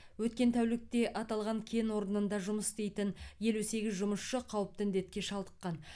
өткен тәулікте аталған кен орнында жұмыс істейтін елу сегіз жұмысшы қауіпті індетке шалдыққан